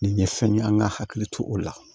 Nin ye fɛn ye an ka hakili to o la